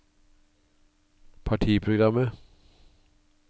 partiprogrammet